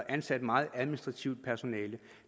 ansat meget administrativt personale